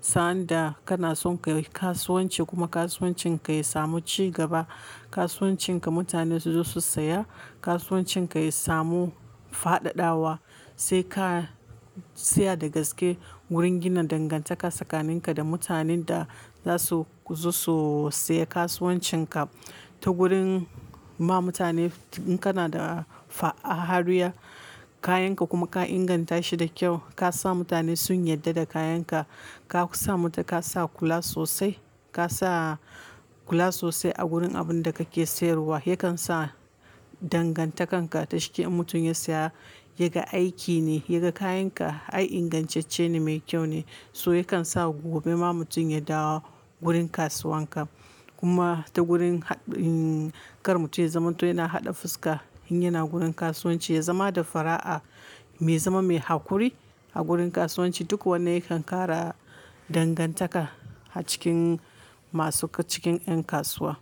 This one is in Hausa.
Sa'an da kana son ka yi kasuwanci kuma kasuwancin ka ya samu ci gaba, kasuwancin ka mutane su zo su saya, kasuwancin ka ya samu fadadawa, sai ka tsaya da gaske wurin gina dangantaka tsakaninka da mutanen da zasu zo su siya kasuwancin ka ta gurin ma mutane in kana da haruya kayan ka kuma ka inganta shi da kyau, ka sa mutane sun yarda da kayan ka, ka sa mu-- ka sa kula sosai, ka sa kula sosai a gurin abin da kake sayarwa, yakan sa dangantakar ka-- dashike in mutum ya saya yaga aiki ne, yaga kayan ka, ai ingantacce ne mai kyau ne, so yakan sa gobe ma mutum ya dawo gurin kasuwan ka. Kuma ta gurin ha-- kar mutum ya zamanto yana haɗa fuska in yana gurin kasuwanci, ya zama da fara'a, mai zama mai hakuri a gurin kasuwanci, duk wannan yakan kara dangantaka a cikin masu cikin yan kasuwa.